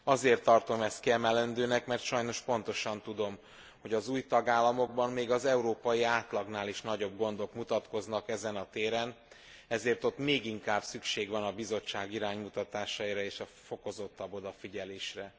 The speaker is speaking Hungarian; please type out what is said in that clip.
Azért tartom ezt kiemelendőnek, mert sajnos pontosan tudom, hogy az új tagállamokban még az európai átlagnál is nagyobb gondok mutatkoznak ezen a téren, ezért ott még inkább szükség van a Bizottság iránymutatásaira és a fokozottabb odafigyelésre.